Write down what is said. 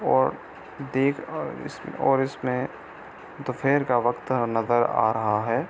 और देख औ और इसमें दोपहर का वक्त नजर आ रहा है।